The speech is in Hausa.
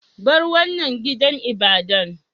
Bar wanan gidan ibadan!